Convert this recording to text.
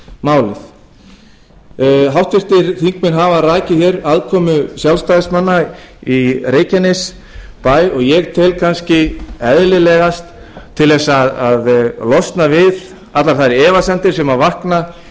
málið háttvirtir þingmenn hafa rakið hér aðkomu sjálfstæðismanna í reykjanesbæ og ég tel kannski eðlilegast til þess að losna við allar þær efasemdir sem vakna